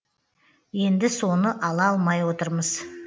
енді соны ала алмай отырмыз